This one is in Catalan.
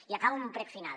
i acabo amb un prec final